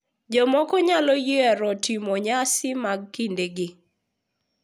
Jomoko nyalo yiero timo nyasi mag kindegi